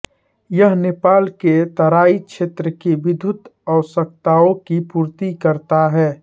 यह नेपाल के तराई क्षेत्र की विद्युत आवश्यकताओं की पूर्ति करता है